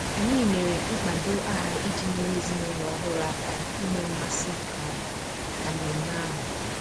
Anyị mere mkpado aha iji nyere ezinụlọ ọhụrụ aka inwe mmasị um na mmemme ahụ